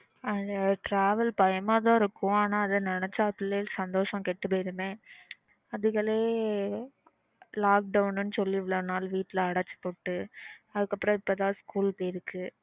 அது travel பயமா தான் இருக்கும் நெனச்சா அதுக்கையே சந்தோஷம் கெட்டு போய்டுமே அதுகளையே lockdown ன்னு சொல்லி இவ்ளோ நாள் வீட்ல அடச்சீ போட்டு